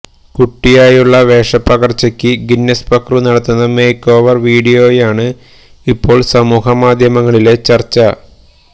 കുട്ടിയായുള്ള വേഷപ്പകര്ച്ചയ്ക്ക് ഗിന്നസ് പക്രു നടത്തുന്ന make over വീഡിയോയാണ് ഇപ്പോൾ സമൂഹമാധ്യമങ്ങളിലെ ചർച്ച